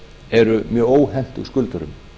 eru mjög óhentug skuldurum